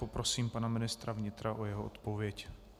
Poprosím pana ministra vnitra o jeho odpověď.